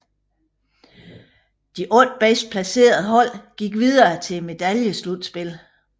De otte bedst placerede hold gik videre til medaljeslutspillet